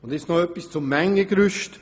Noch ein Wort zum Mengengerüst.